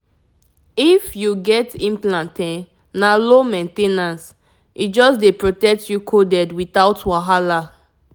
if you get implant e na low main ten ance — e just dey protect you coded without wahala.